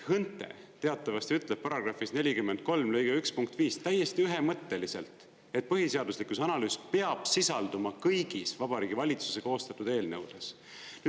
HÕNTE teatavasti ütleb §-s 43 lõige 1 punkt 5 täiesti ühemõtteliselt, et põhiseaduslikkuse analüüs peab sisalduma kõigis Vabariigi Valitsuse koostatud eelnõudes.